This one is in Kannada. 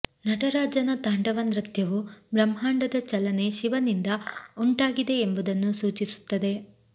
ನಟರಾಜನ ತಾಂಡವ ನೃತ್ಯವು ಬ್ರಹ್ಮಾಂಡದ ಚಲನೆ ಶಿವನಿಂದ ಉಂಟಾಗಿದೆ ಎಂಬುದನ್ನು ಸೂಚಿಸುತ್ತದೆ